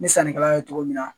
Ni sannikɛlaw ye cogo min na